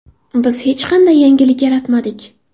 Biz hech qanday yangilik yaratmadik.